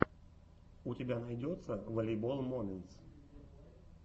у тебя найдется волейбол моментс